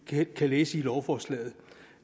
kan læse i lovforslaget